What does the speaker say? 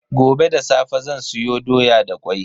Gobe da safe zan soya doya da kwai.